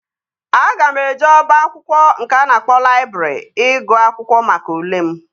Aga m eje oba akwụkwọ nke a na-akpọ laịbrị ịgụ akwụkwọ maka ule m